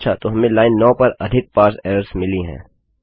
अच्छा तो हमें लाइन 9 पर अधिक पारसे एरर्स मिली हैं